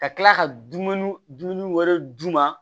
Ka kila ka dumuni dun wɛrɛ d'u ma